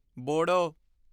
ਬੋੜੋ